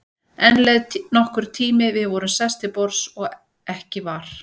Enn leið nokkur tími, við vorum sest til borðs og ekki var